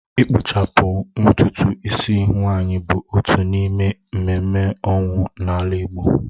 Ịkpụchapụ ntutu ịsị nwaanyị bụ otu n’ime ememme ọnwụ n’ala Igbo